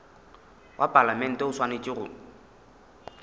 wa palamente o swanetše go